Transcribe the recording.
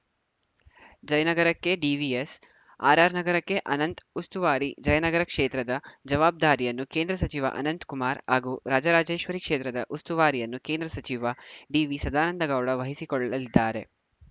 ಜಯನಗರಕ್ಕೆ DVS RR ನಗರಕ್ಕೆ ಅನಂತ್‌ ಉಸ್ತುವಾರಿ ಜಯನಗರ ಕ್ಷೇತ್ರದ ಜವಾಬ್ದಾರಿಯನ್ನು ಕೇಂದ್ರ ಸಚಿವ ಅನಂತಕುಮಾರ್‌ ಹಾಗೂ ರಾಜರಾಜೇಶ್ವರಿ ಕ್ಷೇತ್ರದ ಉಸ್ತುವಾರಿಯನ್ನು ಕೇಂದ್ರ ಸಚಿವ ಡಿವಿಸದಾನಂದಗೌಡ ವಹಿಸಿಕೊಳ್ಳಲಿದ್ದಾರೆ